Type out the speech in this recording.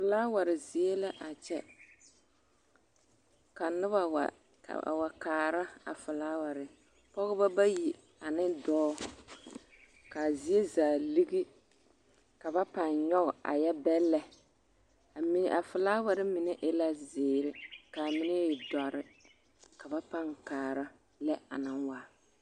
Felaaware zie la a kyɛ ka noba wa a wa kaara a felaaware, pɔgebɔ bayi ane dɔɔ k'a zie zaa ligi ka ba pãã nyɔge a yɛ bɛllɛ, ami, a felaaware mine e la zeere k'a mine e dɔre ka ba pãã kaara lɛ anaŋ waa.